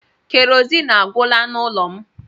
Kerosiin agwụla n'ụlọ m.